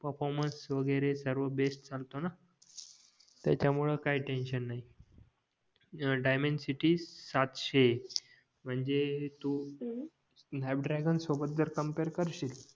performance वगैरे सर्व best चालतोना त्याच्या मुले काही टेन्शन नाही डायमंड सिटी सातशे म्हणजे तू स्नॅप द्रगेन सोबत जर कंपीयर करशील